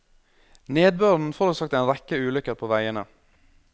Nedbøren forårsaket en rekke ulykker på veiene.